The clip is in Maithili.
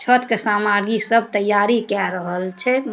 छत के समागी सब तैयारी के रहल छै।